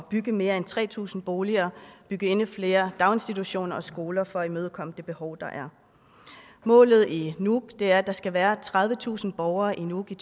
bygge mere end tre tusind boliger og bygge endnu flere daginstitutioner og skoler for at imødekomme det behov der er målet i nuuk er at der skal være tredivetusind borgere i nuuk i